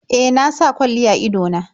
E, na sa kwalli a ido na.